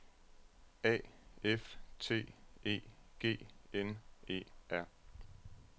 A F T E G N E R